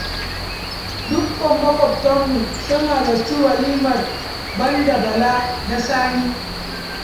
Dukkan maƙwabtanmu sun halarci walimar ban da Bala da Sani.